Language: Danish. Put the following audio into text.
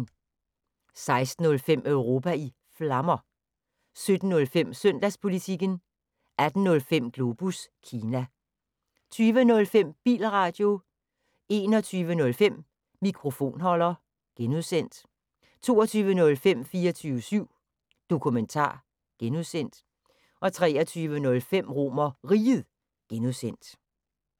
16:05: Europa i Flammer 17:05: Søndagspolitikken 18:05: Globus Kina 20:05: Bilradio 21:05: Mikrofonholder (G) 22:05: 24syv Dokumentar (G) 23:05: RomerRiget (G)